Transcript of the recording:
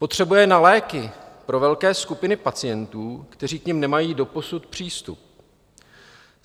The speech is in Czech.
Potřebuje na léky pro velké skupiny pacientů, kteří k nim nemají doposud přístup.